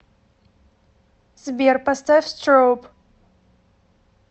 сбер поставь строуб